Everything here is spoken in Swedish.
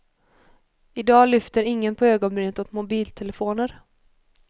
I dag lyfter ingen på ögonbrynen åt mobiltelefoner.